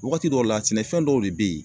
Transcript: Wagati dɔw la sɛnɛfɛn dɔw de be ye